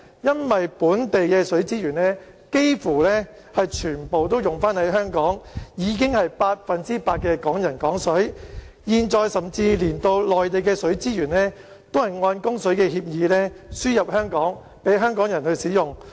因為本地的水資源幾乎全部用於香港，已經是百分之百的"港人港水"，現在甚至連內地的水資源亦按供水協議輸入香港，供香港人使用。